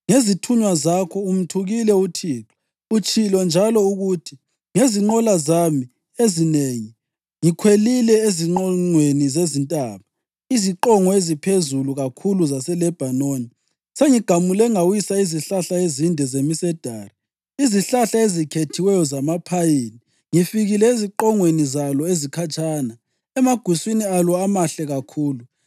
Ngezithunywa zakho umthukile uThixo. Utshilo njalo ukuthi, “Ngezinqola zami ezinengi ngikhwelile eziqongweni zezintaba, iziqongo eziphezulu kakhulu zaseLebhanoni. Sengigamule ngawisa izihlahla ezinde zemisedari, izihlahla ezikhethiweyo zamaphayini. Ngifikile eziqongweni zalo ezikhatshana, emaguswini alo amahle kakhulu.